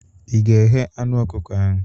Ị ga-eghe anụ ọkụkọ ahụ?